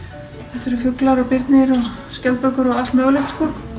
þetta eru fuglar og birnir og skjaldbökur og allt mögulegt